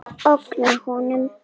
Ógna honum.